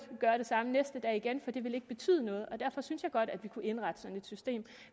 gøre det samme næste dag igen for det vil ikke betyde noget og derfor synes jeg godt at vi kunne indrette et sådant system